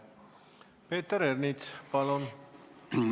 Peeter Ernits, palun!